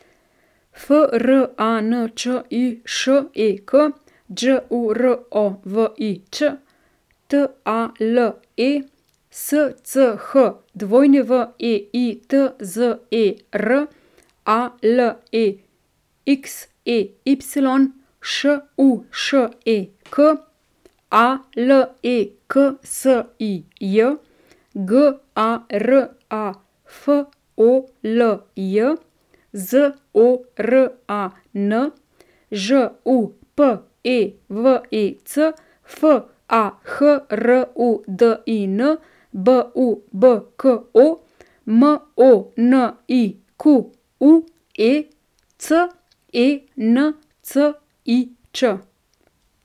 F R A N Č I Š E K, Đ U R O V I Ć; T A L E, S C H W E I T Z E R; A L E X E Y, Š U Š E K; A L E K S I J, G A R A F O L J; Z O R A N, Ž U P E V E C; F A H R U D I N, B U B K O; M O N I Q U E, C E N C I Č.